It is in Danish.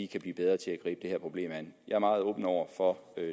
kan blive bedre til at gribe det her problem an jeg er meget åben over for